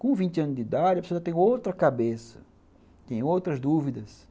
Com vibte anos de idade, a pessoa já tem outra cabeça, tem outras dúvidas.